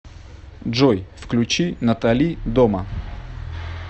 джой включи натали дома